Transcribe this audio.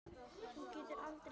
Þú getur aldrei sungið framar